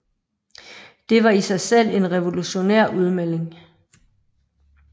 Det var i sig selv en revolutionær udmelding